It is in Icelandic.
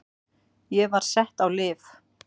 Ég var sett á lyf.